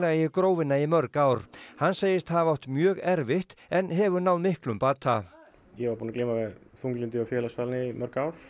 í Grófina í mörg ár hann segist hafa átt mjög erfitt en hefur náð miklum bata ég var búinn að glíma við þunglyndi og félagsfælni í mörg ár